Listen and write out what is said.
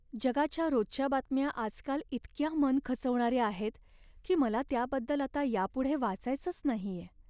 जगाच्या रोजच्या बातम्या आजकाल इतक्या मन खचवणाऱ्या आहेत की मला त्याबद्दल आता यापुढे वाचायचंच नाहीये.